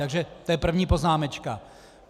Takže to je první poznámečka.